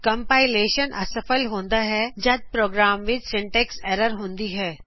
compilation ਅਸਫ਼ਲ ਹੁੰਦਾ ਹੈ ਜੱਦ ਪ੍ਰੋਗਰਾਮ ਵਿੱਚ ਸਿੰਟੈਕਸ ਐਰਰਜ਼ ਹੁੰਦਾ ਹੈ